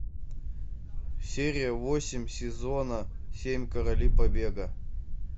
серия восемь сезона семь короли побега